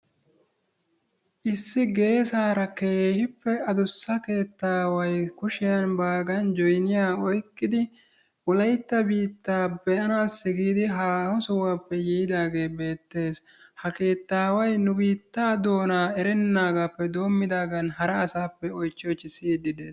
Issi geesaara keehippe adussa keettaawayi kushiyan baagan joyiniya oyqqidi wolaytta biittaa be"anaassi giidi haaho sohuwappe yiidaagee beettes. Ha keettaaway nu biittaa doonaa erennaagaappe doommidaagan hara asaappe oychchi oychchi siyiiddi de'ees.